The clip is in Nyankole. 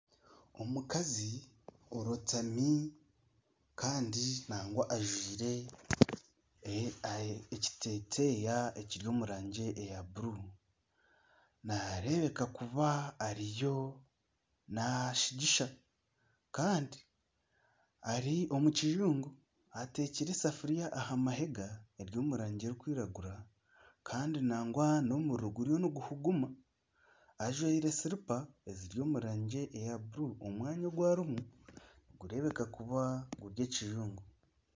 Omukazi orotami kandi nagwa ajwaire ekiteteeya ekiri omu rangi eya buruuru nareebeka kuba nashingisha kandi ari omu kiyungu ateekire esafuuriya aha mahenga eri omu rangi erikwiragura kandi nagwa n'omuriro guriyo niguhuguma ajwaire silipa eziri omu rangi eya buru omwanya ogu arimu nigureebeka kuba guri ekiyungu.